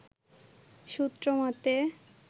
সূত্র মতে